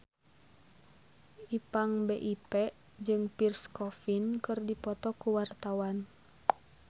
Ipank BIP jeung Pierre Coffin keur dipoto ku wartawan